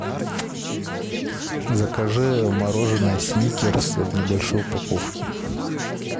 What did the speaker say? закажи мороженое сникерс в небольшой упаковке